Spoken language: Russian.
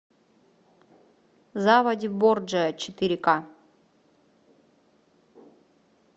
заводи борджиа четыре к